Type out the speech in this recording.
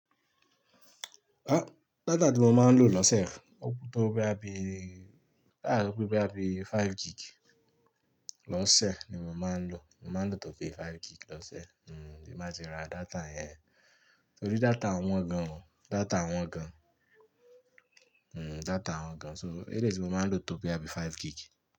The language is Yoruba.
A data ti mo maa n lo lose o to boya bi 5 gig lose ni mo man lo tin ba ti ra data yen. Torí data wọn gan o, data wọn gan o, hmm data wọn gan o. So eléyìí ti mo máa ń lò tó boya bí five gig.